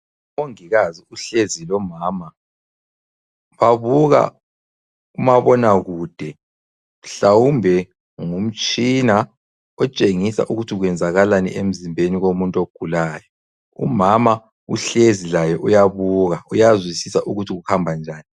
Umongikazi uhlezi lomama babuka umabonakude ,mhlawumbe ngumtshina otshengisa ukuthi kwenzakalani emzimbeni womuntu ogulayo. Umama uhlezi laye uyabuka uyazwisisa ukuthi kuhambanjani.